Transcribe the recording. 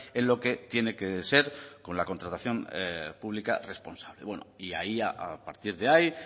en lo que tiene que ser en la contratación pública responsable bueno y a partir de ahí